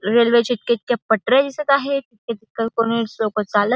Railway च्या इतक्या इतक्या पट्याऱ्या दिसत आहेत. लोकं चालत--